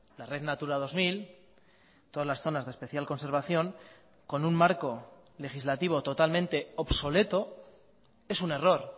la red natura dos mil todas las zonas de especial conservación con un marco legislativo totalmente obsoleto es un error